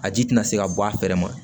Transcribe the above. A ji tɛna se ka bɔ a fɛrɛ ma